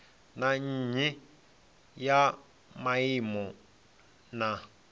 na nnyi ya maimo na